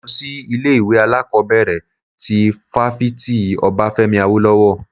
Mo lọ sí ilé ìwé alákọ̀bẹ̀rẹ̀ ti fáfitì Obafemi Awolowo.